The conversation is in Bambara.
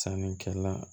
Sannikɛla